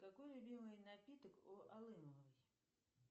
какой любимый напиток у алымовой